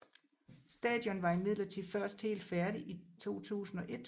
Stadion var imidlertid først helt færdigt i 2001